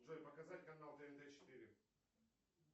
джой показать канал тнт четыре